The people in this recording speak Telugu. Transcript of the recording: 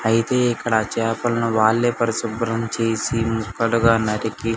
అయితే ఇక్కడ చేపలను వాళ్లే పరిశుభ్రం చేసి ముక్కలుగా నరికి --